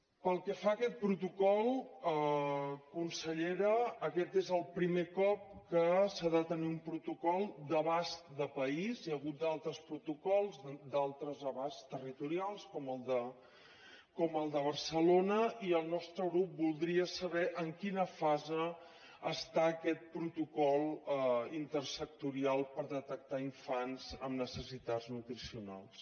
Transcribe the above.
pel que fa a aquest protocol consellera aquest és el primer cop que s’ha de tenir un protocol d’abast de país hi ha hagut altres protocols d’altres abasts territorials com el de barcelona i el nostre grup voldria saber en quina fase està aquest protocol intersectorial per detectar infants amb necessitats nutricionals